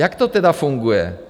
Jak to tedy funguje?